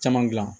Caman gilan